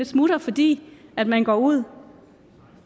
smutter fordi man man går ud